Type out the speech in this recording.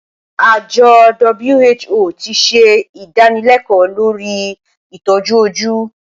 Àjọ WHO ti ṣe ìdánilẹ́kọ̀ọ́ lórí ìtọ́jú ojú.